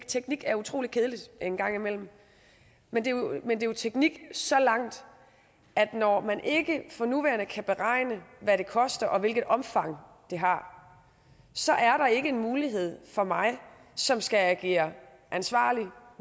teknik er utrolig kedeligt en gang imellem men det er jo teknik så langt at når man ikke for nuværende kan beregne hvad det koster og hvilket omfang det har så er det ikke en mulighed for mig som skal agere ansvarlig